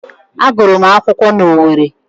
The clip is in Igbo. Agụrụ m akwụkwọ na Owerri